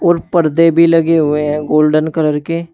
और पर्दे भी लगे हुए हैं गोल्डन कलर के।